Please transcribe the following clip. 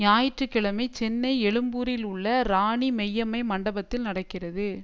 ஞாயிற்று கிழமை சென்னை எழும்பூரில் உள்ள ராணி மெய்யம்மை மண்டபத்தில் நடக்கிறது